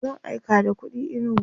zan aika da kuɗi inugu